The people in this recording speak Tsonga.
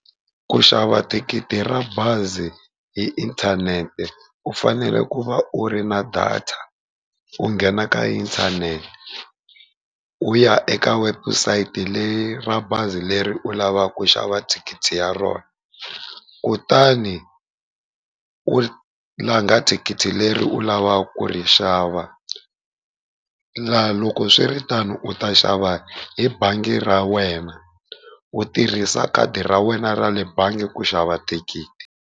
Ku xava thikithi ra bazi hi inthanete u fanele ku va u ri na data, u nghena ka inthanete u ya eka website leyi ra bazi leri u lavaka ku xava thikithi ya rona. Kutani u langha thikithi leri u lavaka ku ri xava, la loko swiritano u ta xava hi bangi ra wena u tirhisa khadi ra wena ra le bangi ku xava thikithi.